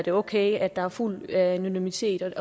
er okay at der er fuld anonymitet